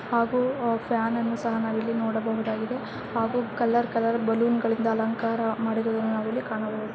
ಹಾಗು ಫ್ಯಾನ್ ಅನ್ನು ಸಹ ನಾವಿಲ್ಲಿ ನೋಡಬಹುದಾಗಿದೆ ಹಾಗು ಕಲರ್ ಕಲರ್ ಬಲ್ಲೋನ್ ಗಳಿಂದ ಅಲಂಕಾರ ಮಾಡಿರುವುದನ್ನ ನಾವಿಲ್ಲಿ ಕಾಣಬಹುದು.